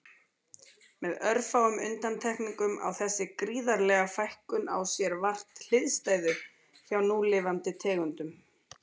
Með örfáum undantekningum á þessi gríðarlega fækkun á sér vart hliðstæðu hjá núlifandi tegundum.